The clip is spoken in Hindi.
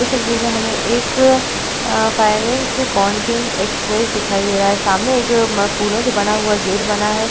इस तस्वीर में हमें एक फाइनेंस अकाउंटिंग एक्सप्रेस दिखाई दे रहा है सामने एक उम्म फूलों से बना हुआ गेट बना है।